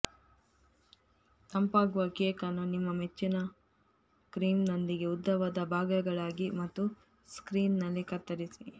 ತಂಪಾಗುವ cake ಅನ್ನು ನಿಮ್ಮ ಮೆಚ್ಚಿನ ಕ್ರೀಮ್ನೊಂದಿಗೆ ಉದ್ದವಾದ ಭಾಗಗಳಾಗಿ ಮತ್ತು ಸ್ಮೀಯರ್ನಲ್ಲಿ ಕತ್ತರಿಸಿ